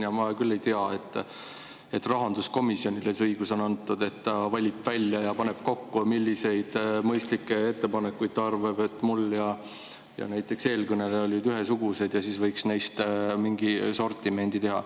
Ja ma ei tea, et rahanduskomisjonile on antud see õigus, et ta valib välja ja paneb kokku nagu mõistlikke ettepanekuid, arvates, et kui mul ja näiteks eelkõnelejal olid ühesugused, siis võiks neist mingi sortimendi teha.